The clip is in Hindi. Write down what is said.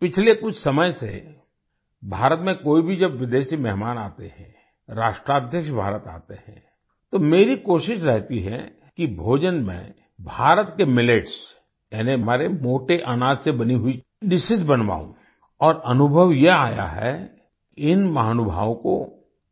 पिछले कुछ समय से भारत में कोई भी जब विदेशी मेहमान आते हैं राष्ट्राध्यक्ष भारत आते हैं तो मेरी कोशिश रहती है कि भोजन में भारत के मिलेट्स यानी हमारे मोटे अनाज से बनी हुई डिशेस बनवाऊं और अनुभव यह आया है इन महानुभावों को